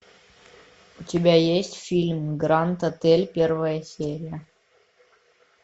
у тебя есть фильм гранд отель первая серия